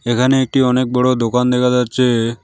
একানে একটি অনেক বড় দোকান দেকা যাচ্চে।